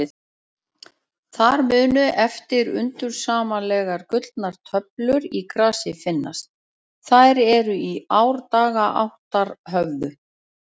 Þar munu eftir undursamlegar gullnar töflur í grasi finnast, þær er í árdaga áttar höfðu.